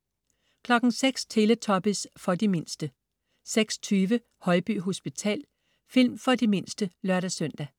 06.00 Teletubbies. For de mindste 06.20 Højby hospital. Film for de mindste (lør-søn)